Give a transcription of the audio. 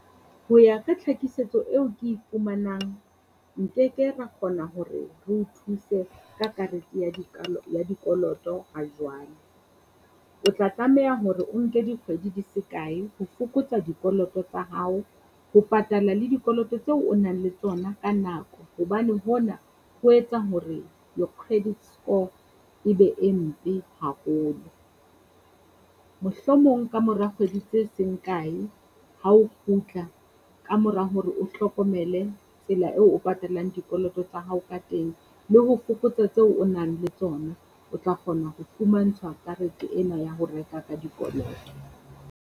Ho ya ka tlhakisetso eo ke e fumanang, nkeke ra kgona hore reo thuse ka karete ya ya dikoloto hajwale. O tla tlameha hore o nke dikgwedi di se kae ho fokotsa dikoloto tsa hao ho patala le dikoloto tseo o nang le tsona ka nako, hobane hona ho etsa hore your credit score e be e mpe haholo. Mohlomong kamora kgwedi tse seng kae hao kgutla kamora hore o hlokomele tsela eo o patalang dikoloto tsa hao ka teng le ho fokotsa tseo o nang le tsona, o tla kgona ho fumantshwa karete ena ya ho reka ka dikoloto.